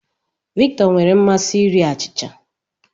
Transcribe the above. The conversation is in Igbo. Victor nwere mmasị iri achịcha.